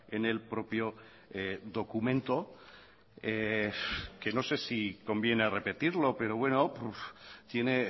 en el propio documento que no sé si conviene repetirlo pero bueno tiene